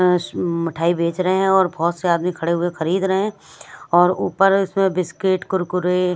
अं मिठाई बेच रहे हैं और बहोत से आदमी खड़े हुए खरीद रहे और ऊपर इसमें बिस्किट कुरकुरे --